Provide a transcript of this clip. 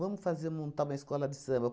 Vamos fazer montar uma escola de samba.